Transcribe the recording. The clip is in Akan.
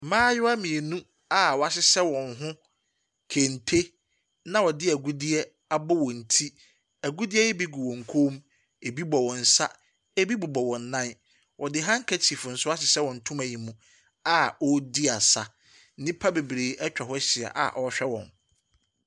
Mmaayewa mmienu a wɔahyehyɛ wɔn ho kente na wɔde agudeɛ abɔ wɔn ti. Agudeɛ yi gu wɔn koom. Ebi bɔ wɔn nsa. Ebi bobɔ wɔn nan. Wɔde hankekyif nso ahyehyɛ wɔn ntoma mu a wɔredi aasa. Nnipa bebree nso atwa hɔ ahyia a wɔrehwɛ wɔn.